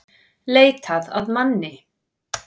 Leitað að manni